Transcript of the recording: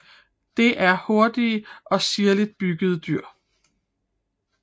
Det er hurtige og sirligt byggede dyr